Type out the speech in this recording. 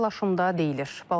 Paylaşımda deyilir: